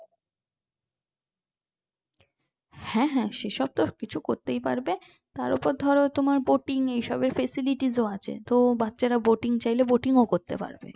হ্যাঁ হ্যাঁ সেসব তো সবকিছু করতেই পারবে তারপর ধরো তোমার boating এইসবের facilities আছে তো বাচ্চারা boating চাইলে boating ও করতে পারবে